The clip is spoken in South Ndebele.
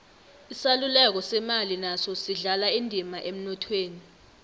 isaluleko semali naso sidlala indima emnothweni